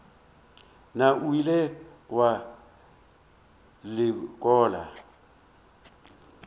na o ile wa lekola